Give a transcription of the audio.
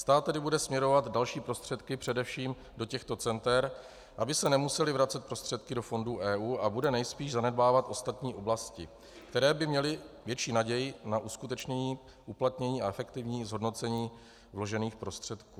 Stát tedy bude směrovat další prostředky především do těchto center, aby se nemusely vracet prostředky do fondů EU, a bude nejspíš zanedbávat ostatní oblasti, které by měly větší naději na uskutečnění, uplatnění a efektivní zhodnocení vložených prostředků.